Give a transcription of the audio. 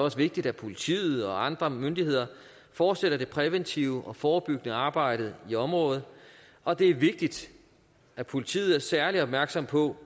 også vigtigt at politiet og andre myndigheder fortsætter det præventive og forebyggende arbejde i området og det er vigtigt at politiet er særlig opmærksomme på